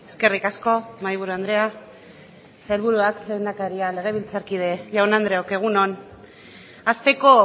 eskerrik asko mahaiburu andrea sailburuak lehendakaria legebiltzarkide jaun andreok egun on hasteko